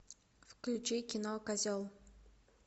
включи кино козел